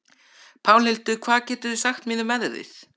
Pálhildur, hvað geturðu sagt mér um veðrið?